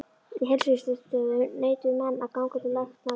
Á heilsugæslustöðvum neituðu menn að ganga til lækna af gyðingaættum.